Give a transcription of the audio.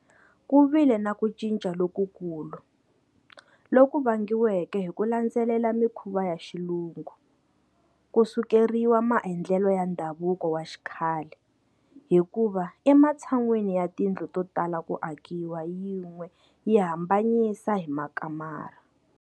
Ku vile na ku cinca lokukulu, loku vangiweke hi ku landzelela mikhuva ya Xilungu, ku sukeriwa maendlelo ya ndhavuko wa xikhale, hikuva ematshan'weni ya tindlu to tala ku akiwa yin'we yi hambanyisiwa hi makamara.